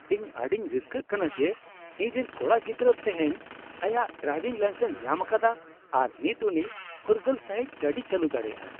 ᱤᱧ ᱟᱹᱰᱤᱧ ᱨᱟᱹᱥᱠᱟᱹᱜ ᱠᱟᱱᱟ ᱡᱮ ᱤᱧᱨᱮᱱ ᱠᱚᱲᱟ ᱜᱤᱫᱽᱨᱟᱹ ᱛᱮᱦᱮᱧ ᱟᱭᱟᱜ ᱰᱨᱟᱭᱵᱷᱤᱝ ᱞᱟᱭᱥᱮᱱᱥ ᱧᱟᱢ ᱟᱠᱟᱫᱟ ᱟᱨ ᱱᱤᱛ ᱩᱱᱤ ᱯᱷᱩᱨᱜᱟᱹᱞ ᱥᱟᱹᱦᱤᱡ ᱜᱟᱹᱰᱤᱭ ᱪᱟᱹᱞᱩ ᱫᱟᱲᱮᱭᱟᱜᱼᱟ ᱾